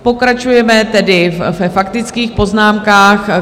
Pokračujeme tedy ve faktických poznámkách.